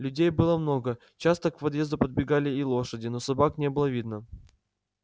людей было много часто к подъезду подбегали и лошади но собак не было видно